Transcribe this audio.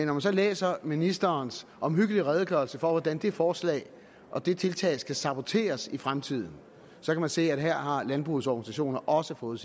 man så læser ministerens omhyggelige redegørelse for hvordan det forslag og det tiltag skal saboteres i fremtiden så kan man se at her har landbrugets organisationer også fået